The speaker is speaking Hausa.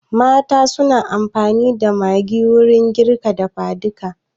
Mata suna amfani da Maggi wurin girka dafa duka